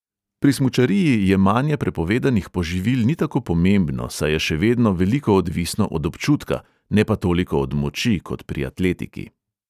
Pri smučariji jemanje prepovedanih poživil ni tako pomembno, saj je še vedno veliko odvisno od občutka, ne pa toliko od moči kot pri atletiki.